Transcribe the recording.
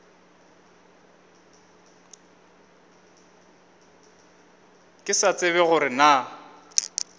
ke sa tsebe gore na